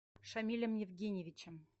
шамилем евгеньевичем